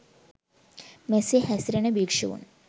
මෙසේ හැසිරෙන භික්‍ෂූන්